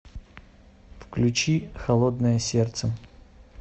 включи холодное сердце